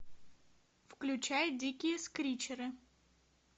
включай дикие скричеры